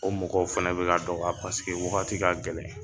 O mɔgɔw fɛn bɛ ka dɔgɔ ya paseke wagati ka gɛlɛn